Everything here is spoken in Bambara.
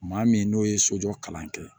Maa min n'o ye sojɔ kalan kɛ